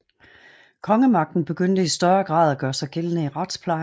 Kongemagten begyndte i større grad at gøre sig gældende i retsplejen